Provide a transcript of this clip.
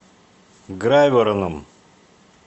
грайвороном